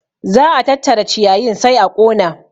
Za a tattara ciyayin sai a ƙona